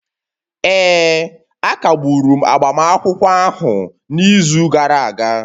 Ee, a kagburu agbamakwụkwọ ahụ n'izu gara aga